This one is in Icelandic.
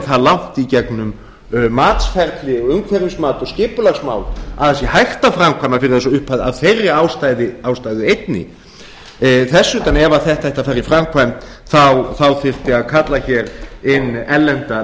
það langt í gegnum matsferli umhverfismat og skipulagsmál að það sé hægt að framkvæma fyrir þessa upphæð af þeirri ástæðu einni þess utan ef þetta ætti að fara í framkvæmd þyrfti að kalla hér inn erlenda